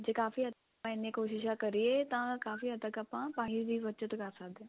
ਜੇ ਕਾਫੀ ਆਪਾਂ ਇੰਨੀਆਂ ਕੋਸ਼ਿਸ਼ਾ ਕਰੀਏ ਤਾਂ ਕਾਫ਼ੀ ਹੱਦ ਤੱਕ ਆਪਾਂ ਪਾਣੀ ਦੀ ਬੱਚਤ ਕਰ ਸਕਦੇ ਆਂ